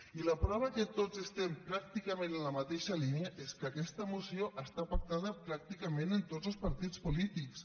i la prova que tots estem pràcticament en la mateixa línia és que aquesta moció està pactada pràcticament amb tots els partits polítics